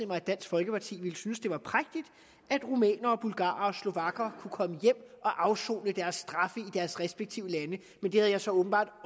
mig at dansk folkeparti ville synes at det var prægtigt at rumænere bulgarere og slovakker kunne komme hjem og afsone deres straf i deres respektive lande men det har jeg så åbenbart